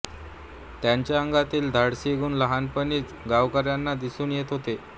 त्यांच्या अंगातील धाडसी गुण लहानपणीच गावकऱ्यांना दिसून येत होते